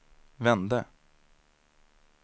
vände